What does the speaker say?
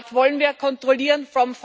Dort wollen wir kontrollieren